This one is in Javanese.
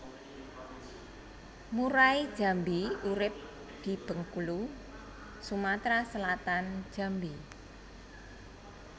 Murai Jambi urip di Bengkulu Sumatra Selatan Jambi